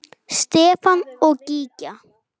Stefán og Gígja.